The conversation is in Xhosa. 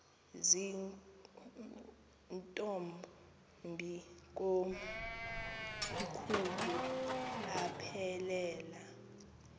zirntombi komkhulu aphelela